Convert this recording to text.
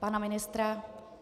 Pana ministra?